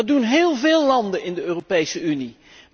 Dat doen heel veel landen in de Europese Unie.